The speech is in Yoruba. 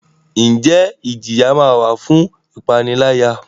Njẹ ijiya ma wa fun ipanilaya?